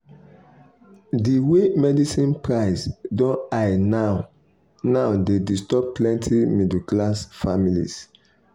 the way medicine price don high now now dey disturb plenty middle-class families.